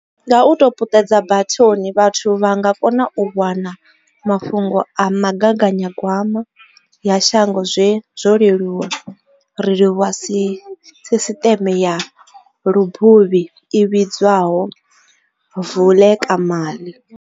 Nga u tou puṱedza bathoni, vhathu vha nga kona u wana ma fhungo a migaganyagwama ya shango zwo leluwa, ri livhuwa sisiṱeme ya lubuvhi i vhidzwa ho Vulekamali.